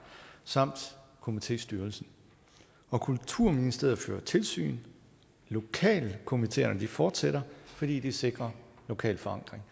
samt komitéstyrelsen kulturministeriet fører tilsyn lokalkomiteerne fortsætter fordi de sikrer lokal forankring